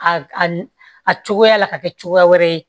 A a cogoya la ka kɛ cogoya wɛrɛ ye